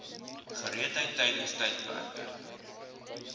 gereedheid tydens tydperke